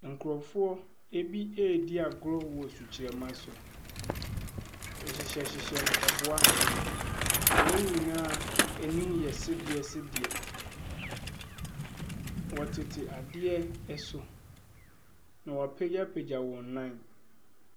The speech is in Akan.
Nkurɔfoɔ bi redi agorɔ wɔ sukyerɛma so. Wɔhyehyɛhyehyɛ mpaboa, na wɔn nyinaa anim yɛ seresere. Wɔtete adeɛ so, na wɔapagyapagya wɔn nam.